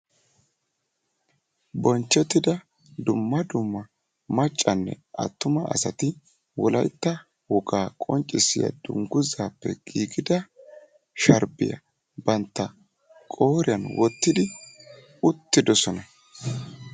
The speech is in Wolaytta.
Bonchchettida dumma dumm maccanne attuma asati wolaytta wogaa qonccisiyaa dunguzaappe giigida sharbbiyaa bantta qooriyaan wottidi uttidosona.